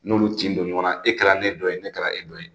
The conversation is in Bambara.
N'olu tin don ɲɔgɔn na e kɛra ne dɔ ye ne kɛra e dɔ ye